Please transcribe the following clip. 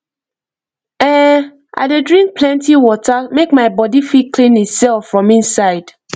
ehn i dey drink plenty water make my body fit clean itself from inside